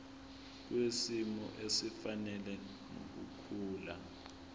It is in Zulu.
kwisimo esifanele nokukhula